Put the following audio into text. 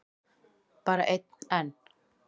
Bara einn enn?